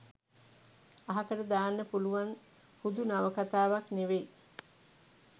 අහකට දාන්න පුළුවන් හුදු නවකතාවක් නෙවෙයි.